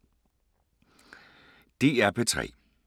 DR P3